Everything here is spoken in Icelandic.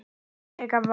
Líklega var